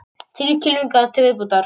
Þrír kylfingar til viðbótar